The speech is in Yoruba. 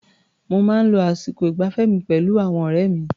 Mo máa ń lo àsìkò ìgbafẹ́ mi pẹ̀lú àwọn ọ̀rẹ́ mi.